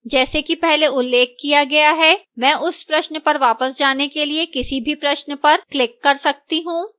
जैसा कि पहले उल्लेख किया गया है मैं उस प्रश्न पर वापस जाने के लिए किसी भी प्रश्न पर click कर सकती हूँ